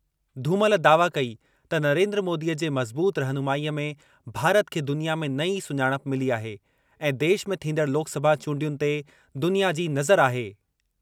धूमल दावा कई त नरेन्द्र मोदीअ जे मज़बूत रहनुमाईअ में भारत खे दुनिया में नई सुञाणप मिली आहे ऐं देश में थींदड़ लोकसभा चूंडियुनि ते दुनिया जी नज़र आहे।